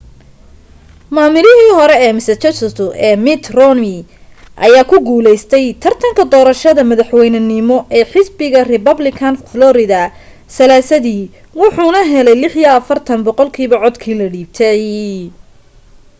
maamulihii hore ee massachusett ee mitt romney ayaa ku guulaystay tartarka doorashada madaxweynenimo ee xisbiga republican florida salaasadii wuxuuna helay 46 boqolkiiba codkii la dhiibtay